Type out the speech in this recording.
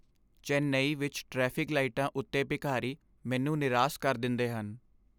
ਚੇਨੱਈ ਵਿੱਚ ਟ੍ਰੈਫਿਕ ਲਾਈਟਾਂ ਉੱਤੇ ਭਿਖਾਰੀ ਮੈਨੂੰ ਨਿਰਾਸ ਕਰ ਦਿੰਦੇ ਹਨ।